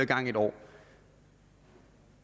gang i et år